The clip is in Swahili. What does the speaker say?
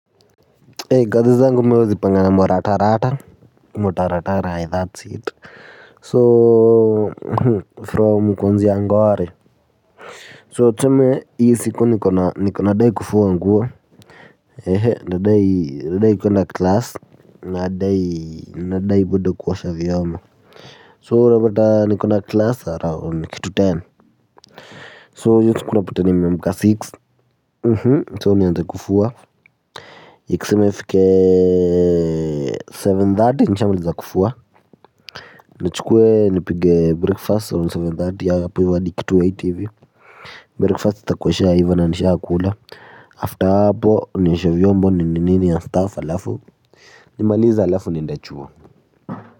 Hei kazi zangu mi huwa nazipanga na mo ratarata Mo taratarai that's it So from kuanzia ngware So tuseme hiyo siku nikona niko nadai kufua nguo. Ehe nadai kuenda class. Nadai nadai bado kuosha vyombo so unapata niko na class around kitu ten So hiyo siku unapata nimeamka so nianze kufua ikiseme ifikeee Seven thate nshamliza kufua. Njchukwe nipige breakfast on seven thirty hapo hivo hadi kitu eight hivi Breakfast itakuwa ishaiva na nishakula akula After hapo nioshe vyombo nini nini na staff halafu nimaliza alafu niende chuo.